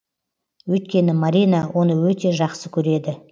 өйткені марина оны өте жақсы көреді